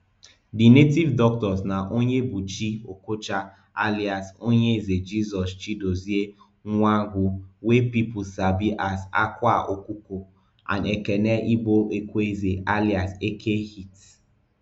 di native doctors na onyebuchi okocha alias onyeze jesus chidozie nwangwu wey pipo sabi as akwa okuko and ekene igboekweze alias eke hit